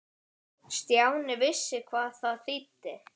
Stjáni vissi hvað það þýddi.